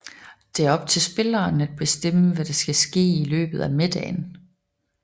Det er op til spilleren at bestemme hvad der så skal ske i løbet af middagen